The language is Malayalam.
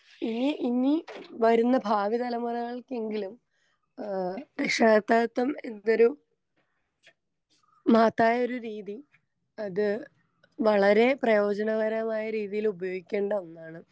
ഇനി ഇനി വരുന്ന ഭാവി തലമുറകൾക്കെങ്കിലും ഏ രക്ഷാകർതൃകത്വം എന്നൊരു മഹത്തായൊരു രീതി അത് വളരേ പ്രയോജകരമായ രീതീല് ഉപയോഗിക്കേണ്ട ഒന്നാണ്.